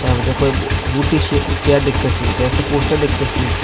আমি তো এখন সে-চেয়ার দেখতাছি আঃ একটা পোস্টার দেখতাছি।